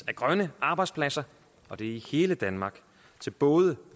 af grønne arbejdspladser og det er i hele danmark til både